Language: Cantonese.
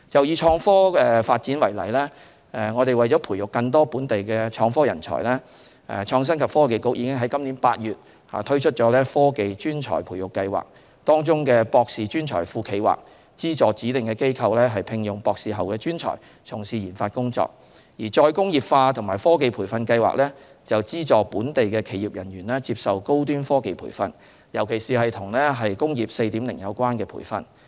以創科發展為例，為培育更多本地創科人才，創新及科技局已於本年8月推出"科技專才培育計劃"，當中的"博士專才庫"計劃，資助指定機構聘用博士後專才從事研發工作，而"再工業化及科技培訓計劃"，則資助本地企業人員接受高端科技培訓，尤其是與"工業 4.0" 有關的培訓。